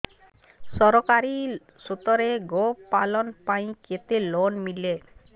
ସରକାରୀ ସ୍ତରରେ ଗୋ ପାଳନ ପାଇଁ କେତେ ଲୋନ୍ ମିଳେ